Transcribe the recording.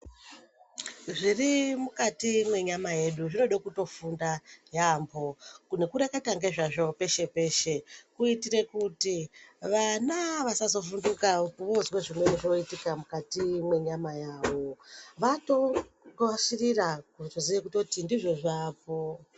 Zviri mukati mwenyama yedu zvinode kutofunda yampho nokureketa ngezvazvo peshe peshe kuitire kuti vana vasazovhunduka vozwe zvimweni zvoitika mukati mwenyama yawo vatokasirira kutoziye kuti ndizvo zvaapo.